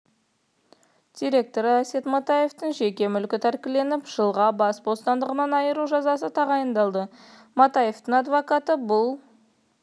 директоры әсет матаевтың жеке мүлкі тәркіленіп жылға бас бостандығынан айыру жазасы тағайындалды матаевтың адвокаты бұл